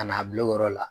Ka n'a bila o yɔrɔ la